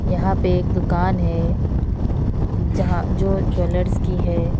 यहां पे एक दुकान है जहां जो ज्वेलर्स की है।